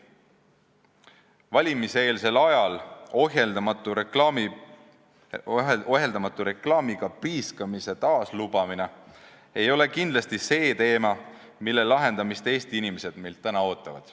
Valimiseelsel ajal reklaamiga ohjeldamatu priiskamise taas lubamine ei ole kindlasti see, mida Eesti inimesed meilt täna ootavad.